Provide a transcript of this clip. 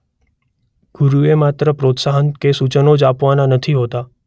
ગુરુએ માત્ર પ્રોત્સાહન કે સૂચનો જ આપવાના નથી હોતા.